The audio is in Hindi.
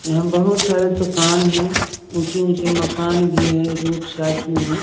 यहां बहुत सारे दुकान है।